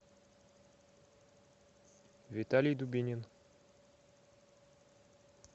виталий дубинин